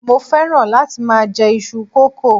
mo fẹràn láti ma je Isu koko